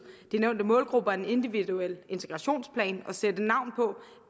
de nævnte målgrupper en individuel integrationssplan og sætte navn på